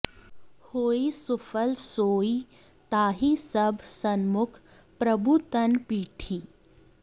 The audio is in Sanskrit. होइ सुफल सोइ ताहि सब सनमुख प्रभु तन पीठि